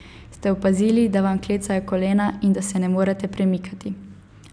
Ste opazili, da vam klecajo kolena in da se ne morete premikati?